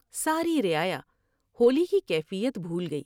ساری رعایا ہولی کی کیفیت بھول گئی ۔